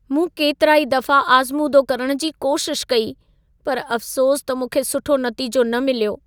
मूं केतिरा ई दफा आज़मूदो करण जी कोशिश कई, पर अफ्सोस त मूंखे सुठो नतीजो न मिलियो।